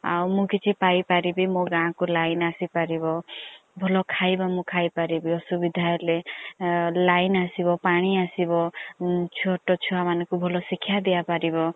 ଆଉ ମୁଁ କିଛି ପାଇ ପାରିବି ମୋ ଗାଁ କୁ ଲାଇନ୍ ଆସି ପାରିବ ଭଲ ଖାଇବା ମୁଁ ଖାଇ ପାରିବି ଅସୁବିଧା ହେଲେ ଲାଇନ୍ ଆସିବ ପାଣି ଆସିବ ଛୋଟ ଛୁଆ ମାନଙ୍କୁ ଭଲ ସିକ୍ଷା ଦିଆ ପାରିବ।